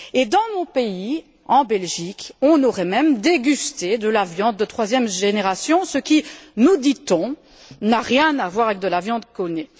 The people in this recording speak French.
Dans mon pays, en Belgique, on aurait même dégusté de la viande de troisième génération, ce qui, nous dit on, n'a rien à voir avec de la viande clonée.